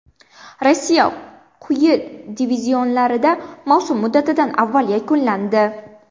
Rossiya quyi divizionlarida mavsum muddatidan avval yakunlandi.